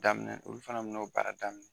Daminɛ, olu fana me n'o baara daminɛ